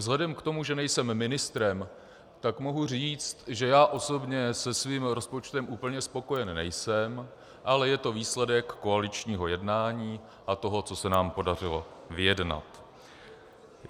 Vzhledem k tomu, že nejsem ministrem, tak mohu říct, že já osobně se svým rozpočtem úplně spokojen nejsem, ale je to výsledek koaličního jednání a toho, co se nám podařilo vyjednat.